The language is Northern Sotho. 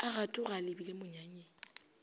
a gatoga a lebile monyanyeng